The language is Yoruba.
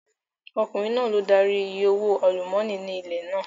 Ọkùnrin náà ló darí I ìyè owó àlúmọ́nì ní ilẹ̀ náà.